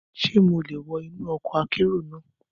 Ṣé mo lè wọ inú ọkọ̀ akérò náà?